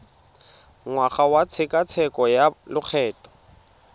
ngwaga wa tshekatsheko ya lokgetho